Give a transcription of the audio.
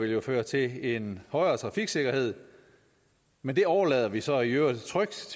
vil jo føre til en højere trafiksikkerhed men det overlader vi så i øvrigt trygt